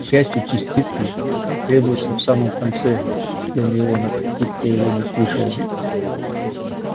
к счастью частицы потребуются в самом конце гермиона как будто его не слышала